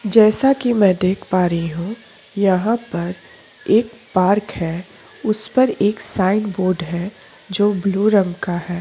जैसा कि मैं देख पा रही हूं यहाँ पर एक पार्क है उस पर एक साइन बोर्ड है जो ब्लू रंग का हैं।